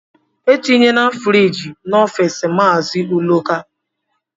Etinyela friiji n'office Mazi Uloka